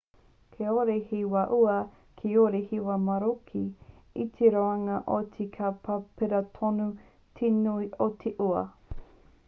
kāore he wā ua kāore he wā maroke i te roanga o te tau ka pērā tonu te nui o te ua